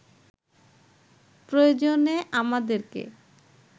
প্রয়োজনে আমাদেরকে